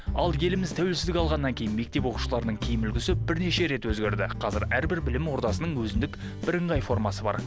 ал еліміз тәуелсіздік алғаннан кейін мектеп оқушыларының киім үлгісі бірнеше рет өзгерді қазір әрбір білім ордасының өзіндік бірыңғай формасы бар